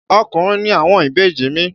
Ọkùnrin ni àwọn ìbejì mi.